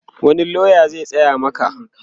wani loya zai tsaya Maka?